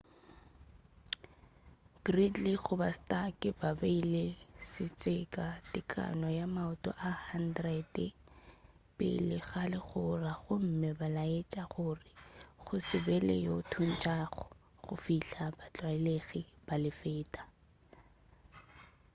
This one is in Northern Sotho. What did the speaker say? gridley goba stark ba beile setseka tekano ya maoto a 100 30 m pele ga legora gomme ba laetša gore go se be le yo a thuntšago go fihla batlwaelegi ba le feta